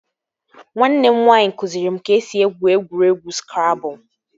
Nwanne m nwaanyị kụziri m ka e si egwu egwuregwu skrabụl